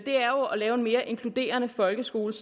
lave en mere inkluderende folkeskole